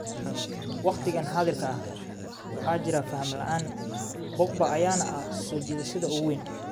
Waqtigan xaadirka ah, waxaa jira faham la'aan, Pogba ayaana ah soo jiidashada ugu weyn.